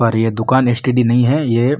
और ये दुकान एसटीडी नही है ये --